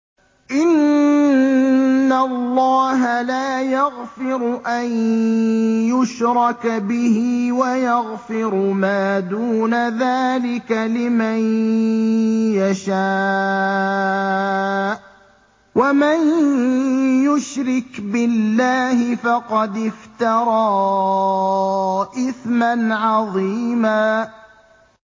إِنَّ اللَّهَ لَا يَغْفِرُ أَن يُشْرَكَ بِهِ وَيَغْفِرُ مَا دُونَ ذَٰلِكَ لِمَن يَشَاءُ ۚ وَمَن يُشْرِكْ بِاللَّهِ فَقَدِ افْتَرَىٰ إِثْمًا عَظِيمًا